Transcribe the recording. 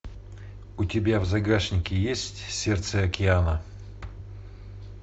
у тебя в загашнике есть сердце океана